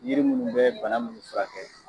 Yiri munnu bɛ bana munnu furakɛ.